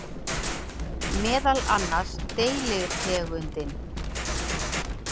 Meðal annars deilitegundin